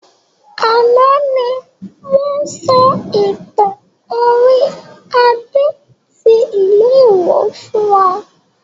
Àná ni wọn sọ ìtàn orí Adé tí ìlú ìwó fún wa